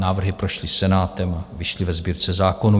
Návrhy prošly Senátem, vyšly ve Sbírce zákonů.